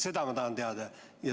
Seda ma tahan teada.